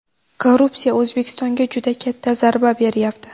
Korrupsiya O‘zbekistonga juda katta zarba beryapti.